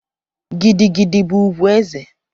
Gidi gidi bụ ugwu eze.